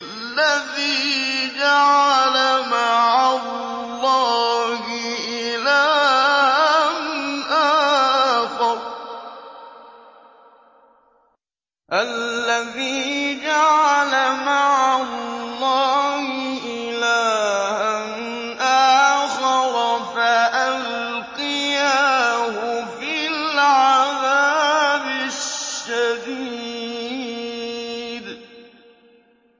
الَّذِي جَعَلَ مَعَ اللَّهِ إِلَٰهًا آخَرَ فَأَلْقِيَاهُ فِي الْعَذَابِ الشَّدِيدِ